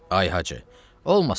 Ay Hacı, olmasın azar.